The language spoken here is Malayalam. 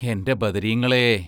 എന്റെ ബദരീങ്ങളെ!